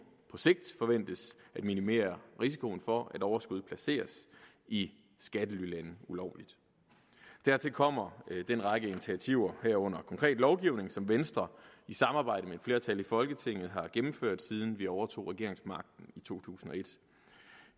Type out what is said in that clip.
på sigt forventes at minimere risikoen for at overskuddet placeres i skattelylande ulovligt dertil kommer den række initiativer herunder konkret lovgivning som venstre i samarbejde med et flertal i folketinget har gennemført siden vi overtog regeringsmagten i to tusind og et